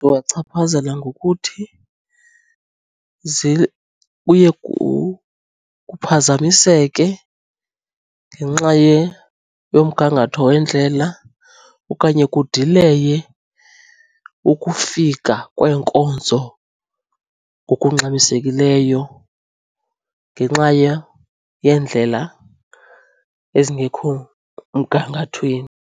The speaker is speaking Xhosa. chaphazela ngokuthi zibuye kuphazamiseke ngenxa yomgangatho wendlela okanye kudileye ukufika kweenkonzo ngokungxamisekileyo ngenxa yeendlela ezingekho mgangathweni.